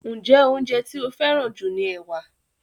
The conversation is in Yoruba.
Njé oúnjẹ ti o feran ju ní ẹwà?